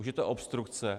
Už je to obstrukce.